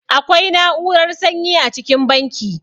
Akwai na'urar sanyi a cikin banki.